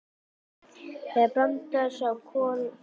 Þegar Branda sá Kol fór hún að hvæsa.